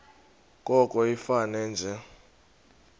koko ifane nje